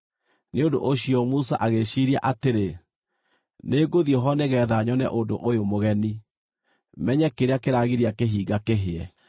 Nĩ ũndũ ũcio Musa agĩĩciiria atĩrĩ, “Nĩngũthiĩ ho nĩgeetha nyone ũndũ ũyũ mũgeni, menye kĩrĩa kĩragiria kĩhinga kĩhĩe.”